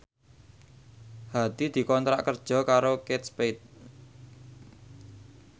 Hadi dikontrak kerja karo Kate Spade